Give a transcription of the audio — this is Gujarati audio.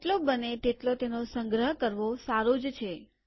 જેટલો બને તેટલો તેનો સંગ્રહ કરવો સારું જ છે